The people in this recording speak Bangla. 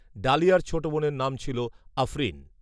ডালিয়ার ছোট বোনের নাম ছিলো আফঋণ